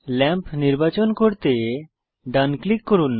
lamp নির্বাচন করতে ডান ক্লিক করুন